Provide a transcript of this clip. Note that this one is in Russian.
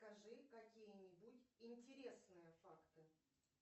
скажи какие нибудь интересные факты